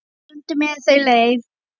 Stundum eru þau leið.